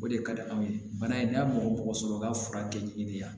O de ka di anw ye bana in n'a mɔgɔ mɔgɔ sɔrɔ ka fura kɛ i de yan